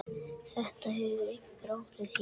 Þetta hefur einhver áhrif hér.